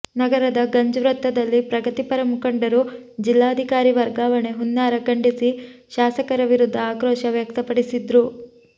ನಗರದ ಗಂಜ್ ವೃತ್ತದಲ್ಲಿ ಪ್ರಗತಿಪರ ಮುಖಂಡರು ಜಿಲ್ಲಾಧಿಕಾರಿ ವರ್ಗಾವಣೆ ಹುನ್ನಾರ ಖಂಡಿಸಿ ಶಾಸಕರ ವಿರುದ್ದ ಆಕ್ರೋಶ ವ್ಯಕ್ತಪಡಿಸಿದ್ರು